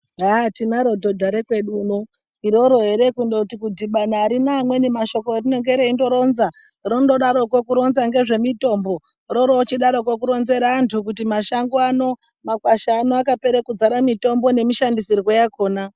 Haa tinaro dhodha rekwedu uno .lroro ere kundoti kudhibana arina amweni mashoko erinonge reindoronzera .Rinodaroko kuronza ngezvemitombo .Rorochidaroko kuri kuronzera anhtu kuti mashango ano makwasha ano akapera kuzara mitombo nemashandisirwo yakona .